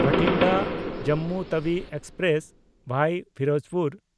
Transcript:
Bathinda Jammu Tawi express (ᱵᱷᱟᱭᱟ ᱯᱷᱤᱨᱳᱡᱽᱯᱩᱨ)